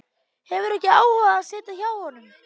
Hefur ekki áhuga á að sitja hjá honum.